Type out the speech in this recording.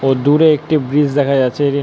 তো দূরে একটি ব্রিজ দেখা যাচ্ছে এটি--